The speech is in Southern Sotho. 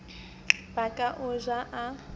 ba ka o ja o